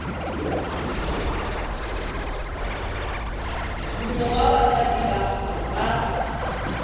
mongwe wa basadi ba ba